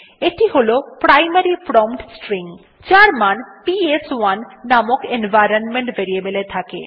এটি হল primary prompt string যার মান পিএস1 নামক এনভাইরনমেন্ট ভেরিয়েবল এ থাকে